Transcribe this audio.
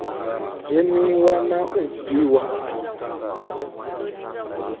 dzheniwa na u bviwa afho